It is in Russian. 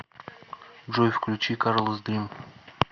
джой включи карлас дрим